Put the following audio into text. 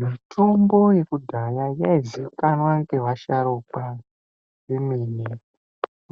Mitombo yekudhaya yaizikanwa ngevasharukwa vemene